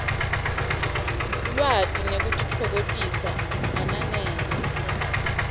lwati nekutitfokotisa ananele